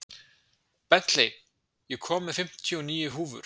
Bentley, ég kom með fimmtíu og níu húfur!